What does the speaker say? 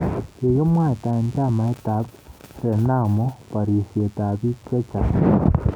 Kikimwaitae chamait ab Renamo barisyet ab biik chechaang